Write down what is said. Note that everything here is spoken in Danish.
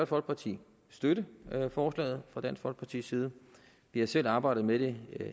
folkeparti støtte forslaget fra dansk folkepartis side vi har selv arbejdet med det